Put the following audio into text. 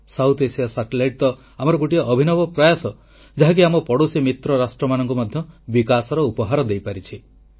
ଦକ୍ଷିଣ ଏସିଆ ଉପଗ୍ରହ ତ ଆମର ଗୋଟିଏ ଅଭିନବ ପ୍ରୟାସ ଯାହାକି ଆମ ପଡ଼ୋଶୀ ମିତ୍ର ରାଷ୍ଟ୍ରମାନଙ୍କୁ ମଧ୍ୟ ବିକାଶର ଉପହାର ଦେଇପାରିଛି